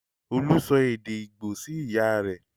Olú sọ èdè Ìgbò sí ìyá rẹ̀.